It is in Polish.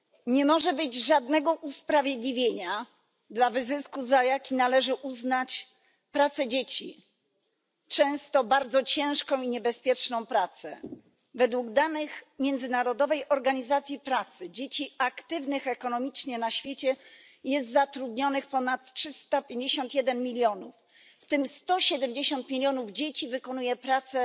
Nie może być żadnego usprawiedliwienia dla wyzysku, za jaki należy uznać pracę dzieci często bardzo ciężką i niebezpieczną pracę. Według danych Międzynarodowej Organizacji Pracy dzieci aktywnych ekonomicznie na świecie jest zatrudnionych ponad 351 milionów, w tym 170 milionów dzieci wykonuje pracę